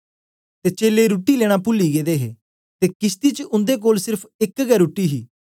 ते चेलें रुट्टी लेना पूली गेदे हे ते किशती च उन्दे कोल सेर्फ एक गै रुट्टी ही